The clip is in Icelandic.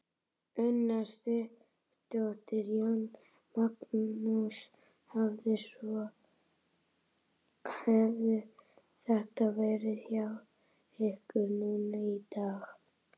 Una Sighvatsdóttir: Jón Magnús, hvernig svona hefur þetta verið hjá ykkur núna í dag?